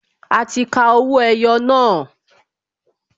A ti ka owó ẹyọ náà